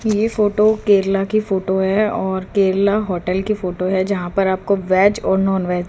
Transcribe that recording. ये फोटो केरला की फोटो है और केरला होटल की फोटो है जहां पर आपको वेज और नॉनवेज --